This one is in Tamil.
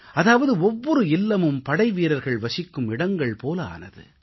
அதாவது ஒவ்வொரு இல்லமும் படைவீரர்கள் வசிக்கும் இடங்கள் போல ஆனது